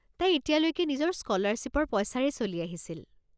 তাই এতিয়ালৈকে নিজৰ স্কলাৰশ্বীপৰ পইচাৰে চলি আহিছিল।